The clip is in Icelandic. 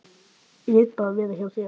Ég vil bara vera hjá þér.